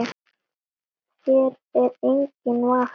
Hér er enginn vafi.